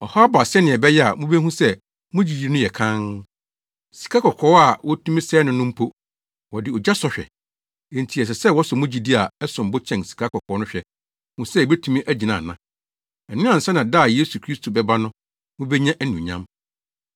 Ɔhaw ba sɛnea ɛbɛyɛ a wobehu sɛ mo gyidi no yɛ kann. Sikakɔkɔɔ a wotumi sɛe no no mpo, wɔde ogya sɔ hwɛ, enti ɛsɛ sɛ wɔsɔ mo gyidi a ɛsom bo kyɛn sikakɔkɔɔ no hwɛ hu sɛ ebetumi agyina ana. Ɛno ansa na da a Yesu Kristo bɛba no, mubenya anuonyam.